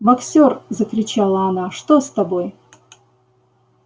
боксёр закричала она что с тобой